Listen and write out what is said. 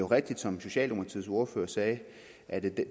rigtigt som socialdemokraternes ordfører sagde at